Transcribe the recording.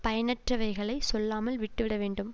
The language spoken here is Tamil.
பயனற்றவைகளை சொல்லாமல் விட்டுவிட வேண்டும்